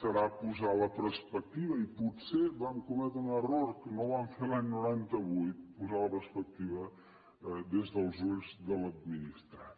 serà posar la perspectiva i potser vam cometre un error que no ho vam fer l’any noranta vuit posar la perspectiva des dels ulls de l’administrat